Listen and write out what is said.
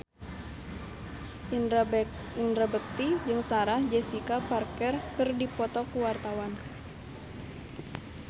Indra Bekti jeung Sarah Jessica Parker keur dipoto ku wartawan